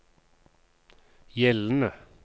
gjeldende